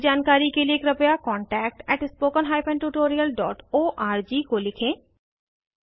अधिक जानकारी के कृपया contactspoken tutorialorg को लिखें